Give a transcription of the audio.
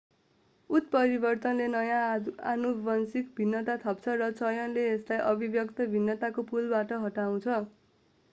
उत्परिवर्तनले नयाँ आनुवंशिक भिन्नता थप्छ र चयनले यसलाई अभिव्यक्त भिन्नताको पुलबाट हटाउँछ